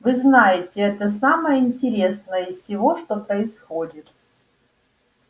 вы знаете это самое интересное из всего что происходит